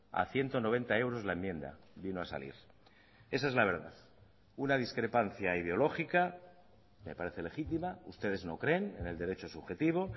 a ciento noventa euros la enmienda vino a salir esa es la verdad una discrepancia ideológica me parece legítima ustedes no creen en el derecho subjetivo